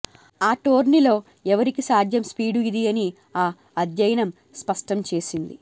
ఆ టోర్నీలో ఎవరికీ సాధ్యం స్పీడు ఇది అని ఆ అధ్యయనం స్పష్టంచేసింది